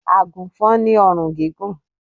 Agùnfọn ni orùn gígùn